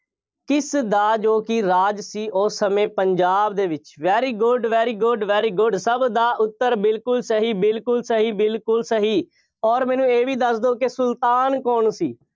ਕਿਸ ਦਾ ਜੋ ਕਿ ਰਾਜ ਸੀ, ਉਸ ਸਮੇਂ ਪੰਜਾਬ ਦੇ ਵਿੱਚ, very good, very good, very good ਸਭ ਦਾ ਉੱਤਰ ਬਿਲਕੁੱਲ ਸਹੀ, ਬਿਲਕੁੱਲ ਸਹੀ, ਬਿਲਕੁੱਲ ਸਹੀ, ਅੋਰ ਮੈਨੂੰ ਇਹ ਵੀ ਦੱਸ ਦਿਓ ਕਿ ਸੁਲਤਾਨ ਕੌਣ ਸੀ।